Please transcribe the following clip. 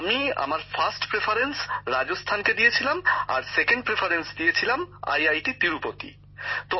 আমার প্রথম পছন্দ ছিল রাজস্থান আর দ্বিতীয় পছন্দে রেখেছিলাম তিরুপতি আইআইটিকে